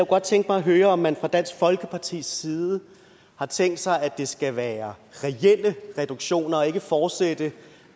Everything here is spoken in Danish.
godt tænke mig at høre om man fra dansk folkepartis side har tænkt sig at det skal være reelle reduktioner altså ikke at fortsætte